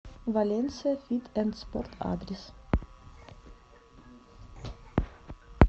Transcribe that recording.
валенсия фит энд спорт адрес